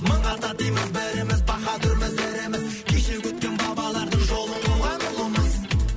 мың ата дейміз біріміз баһадүрміз іріміз кешегі өткен бабалардың жолын қуған ұлымыз